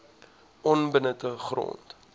onbenutte grond